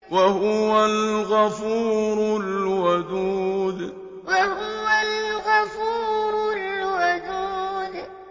وَهُوَ الْغَفُورُ الْوَدُودُ وَهُوَ الْغَفُورُ الْوَدُودُ